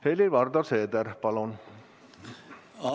Helir-Valdor Seeder, palun!